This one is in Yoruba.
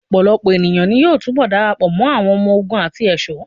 Ọ̀pọ̀lọpọ̀ èniyàn ní yóò túnbọ̀ darapọ̀ mọ́ àwọn ọmọ ogun àti ẹ̀ṣọ́.